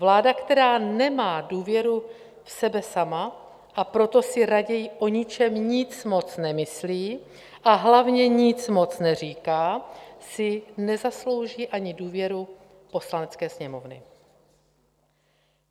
Vláda, která nemá důvěru v sebe sama, a proto si raději o ničem nic moc nemyslí a hlavně nic moc neříká, si nezaslouží ani důvěru Poslanecké sněmovny.